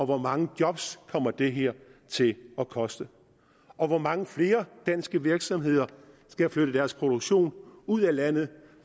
hvor mange job kommer det her til at koste og hvor mange flere danske virksomheder skal flytte deres produktion ud af landet